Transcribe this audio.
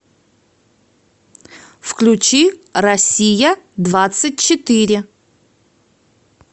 включи россия двадцать четыре